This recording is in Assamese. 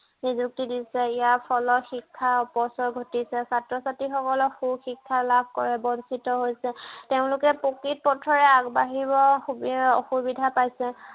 নিযুক্তি দিছে। ইয়াৰ ফলত শিক্ষাৰ অপচয় ঘটিছে। ছাত্ৰ-ছাত্ৰীসকলক সু শিক্ষা লাভ কৰা বঞ্চিত হৈছে। তেওঁলোকে প্ৰকৃত পথেৰে আগবাঢ়িব সুবিধা অসুবিধা পাইছে।